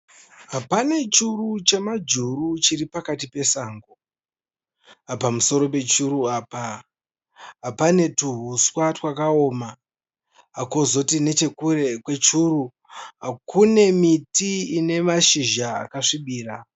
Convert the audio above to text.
Pane churu chemajuru chiri pakati pesango. Pamusoro pechuru apa pane tuhuswa twakaoma. Kozoti nechekure kwechuru kune miti ine mazhizha akasvibira.